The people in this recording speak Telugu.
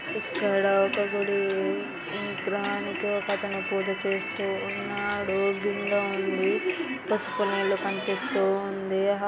ఇక్కడ ఒక గుడి ఈ విగ్రహాలనికి ఒకతను పూజ చేస్తుఉన్నాడు. బిందె ఉంది పసుపు నీళ్లు కనిపిస్తూ ఉంది.